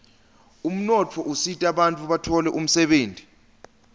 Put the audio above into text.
umnotfo usitabantfu batfole umsebenti